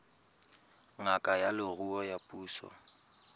ngaka ya leruo ya puso